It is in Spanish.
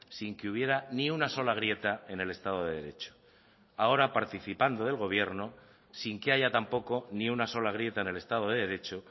sin que hubiera ni una sola grieta en el estado de derecho ahora participando del gobierno sin que haya tampoco ni una sola grieta en el estado de derecho